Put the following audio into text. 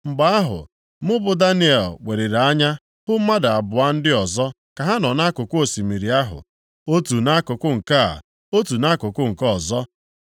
Mgbe ahụ, mụ bụ Daniel weliri anya hụ mmadụ abụọ ndị ọzọ ka ha nọ nʼakụkụ osimiri ahụ, otu nʼakụkụ nke a, otu nʼakụkụ nke ọzọ.